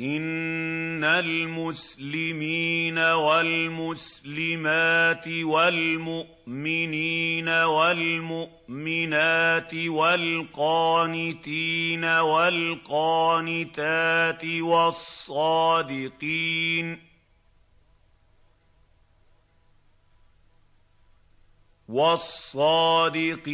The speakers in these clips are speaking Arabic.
إِنَّ الْمُسْلِمِينَ وَالْمُسْلِمَاتِ وَالْمُؤْمِنِينَ وَالْمُؤْمِنَاتِ وَالْقَانِتِينَ وَالْقَانِتَاتِ وَالصَّادِقِينَ وَالصَّادِقَاتِ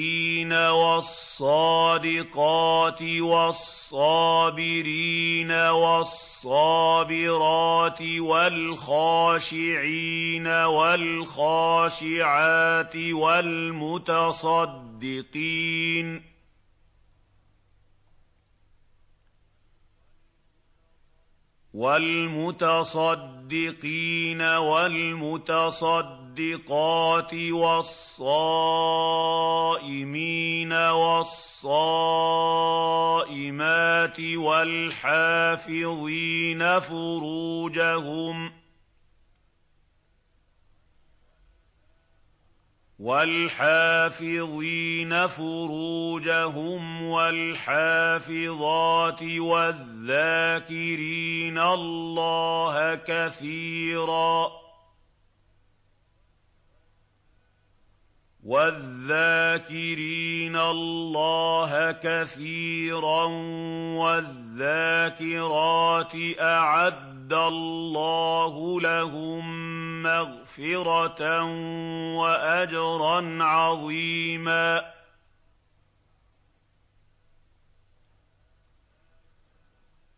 وَالصَّابِرِينَ وَالصَّابِرَاتِ وَالْخَاشِعِينَ وَالْخَاشِعَاتِ وَالْمُتَصَدِّقِينَ وَالْمُتَصَدِّقَاتِ وَالصَّائِمِينَ وَالصَّائِمَاتِ وَالْحَافِظِينَ فُرُوجَهُمْ وَالْحَافِظَاتِ وَالذَّاكِرِينَ اللَّهَ كَثِيرًا وَالذَّاكِرَاتِ أَعَدَّ اللَّهُ لَهُم مَّغْفِرَةً وَأَجْرًا عَظِيمًا